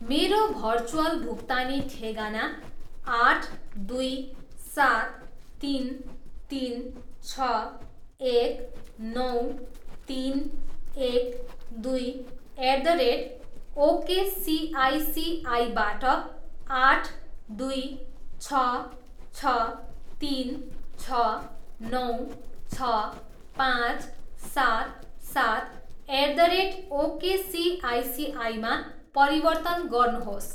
मेरो भर्चुअल भुक्तानी ठेगाना आठ, दुई, सात, तिन, तिन, छ, एक, नौ, तिन, एक, दुई, एट द रेट ओकेसिआइसिआईबाट आठ, दुई, छ, छ, तिन, छ, नौ, छ, पाँच, सात, सात, एट द रेट ओकेसिआइसिआईमा परिवर्तन गर्नुहोस्।